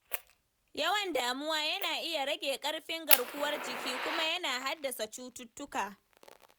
Yawan damuwa yana iya rage ƙarfin garkuwar jiki kuma yana haddasa cututtuka.